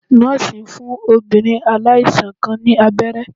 Nọ́ọ̀sì ń fún obìnrin aláìsàn kan ní abẹ́rẹ́